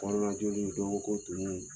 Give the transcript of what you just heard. Hɔrɔnlaj dɔn ko tunun